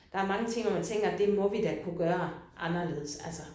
Der er mange ting hvor man tænker det må vi da kunne gøre anderledes altså